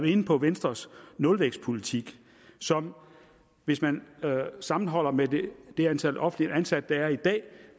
inde på venstres nulvækstpolitik som hvis man sammenholder med det antal offentligt ansatte der er i dag